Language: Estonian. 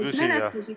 Hea küsija, teie aeg!